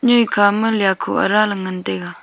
noika ma lia ko ara le ngan taga.